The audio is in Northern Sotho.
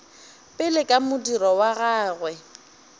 pele ka modiro wa gagwe